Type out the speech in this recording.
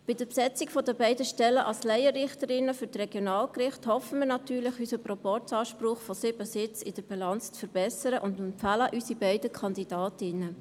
Mit der Besetzung der beiden Stellen als Laienrichterinnen für die Regionalgerichte hoffen wir natürlich, unseren Proporzanspruch von sieben Sitzen in der Bilanz zu verbessern und empfehlen unsere beiden Kandidatinnen.